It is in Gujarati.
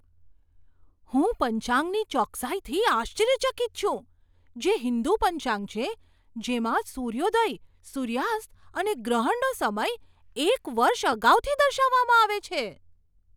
હું પંચાંગની ચોકસાઈથી આશ્ચર્યચકિત છું, જે હિન્દુ પંચાંગ છે જેમાં સૂર્યોદય, સૂર્યાસ્ત અને ગ્રહણનો સમય એક વર્ષ અગાઉથી દર્શાવવામાં આવે છે.